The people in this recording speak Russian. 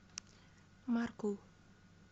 маркул